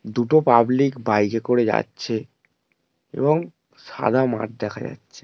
দুটো public bike -এ করে যাচ্ছে এবং সাদা মাঠ দেখা যাচ্ছে।